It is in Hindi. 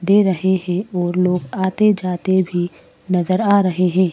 दे रहे हैं और लोग आते जाते भी नजर आ रहे हैं।